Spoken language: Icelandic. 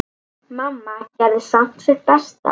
Mamma gerði samt sitt besta.